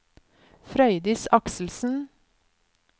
Frøydis Akselsen